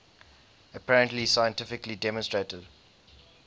apparently scientifically demonstrated